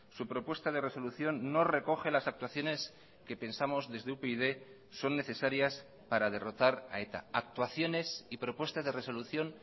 su propuesta de resolución no recoge las actuaciones que pensamos desde upyd son necesarias para derrotar a eta actuaciones y propuestas de resolución